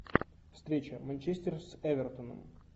встреча манчестер с эвертоном